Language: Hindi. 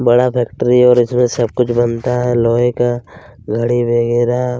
बड़ा फैक्ट्री है और इसमें सब कुछ बनता है लोहे का घड़ी वगैरह--